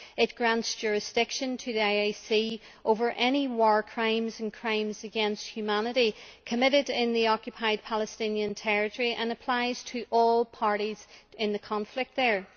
It grants jurisdiction to the ICC over any war crimes and crimes against humanity committed in the Occupied Palestinian territory and applies to all parties in the conflict there.